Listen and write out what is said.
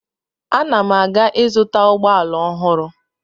Ana m aga ịzụta ụgbọala ọhụrụ.